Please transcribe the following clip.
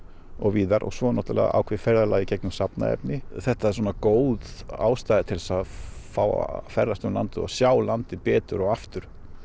og víðar og svo er náttúrulega ákveðið ferðalag í gegnum safnaefni þetta var svona góð ástæða til að ferðast um landið og sjá landið betur og aftur